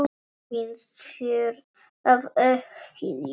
Finnst þér það ekki líka?